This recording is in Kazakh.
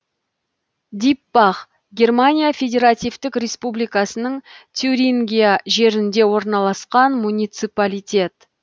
диппах германия федеративтік республикасының тюрингия жерінде орналасқан муниципалитет